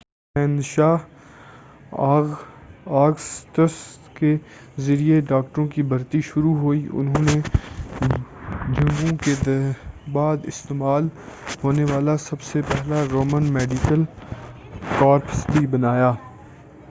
شہنشاہ آگسٹس کے ذریعے ڈاکٹروں کی بھرتی شروع ہوئی اور انہوں نے جنگوں کے بعد استعمال ہونے والا سب سے پہلا رومن میڈیکل کارپس بھی بنایا